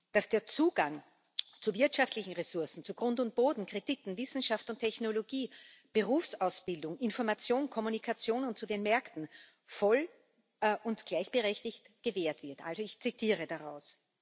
dass der Zugang zu wirtschaftlichen Ressourcen, zu Grund und Boden, Krediten, Wissenschaft und Technologie, Berufsausbildung, Information, Kommunikation und zu den Märkten voll und gleichberechtigt gewährt wird also ich zitiere daraus.